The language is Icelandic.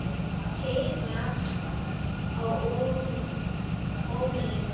Keyra á olíu?